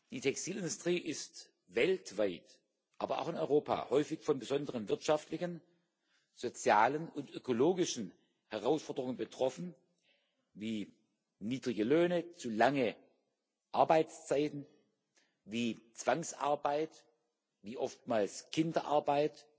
Die Textilindustrie ist weltweit, aber auch in Europa häufig von besonderen wirtschaftlichen, sozialen und ökologischen Herausforderungen betroffen wie, niedrige Löhne zu lange Arbeitszeiten, wie Zwangsarbeit, wie oftmals Kinderarbeit,